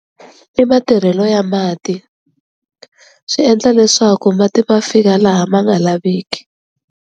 I matirhelo ya mati swi endla leswaku mati ma fika laha ma nga laveki.